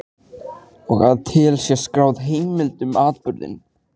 Og að til sé skráð heimild um atburðinn.